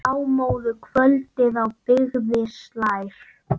Blámóðu kvöldið á byggðir slær.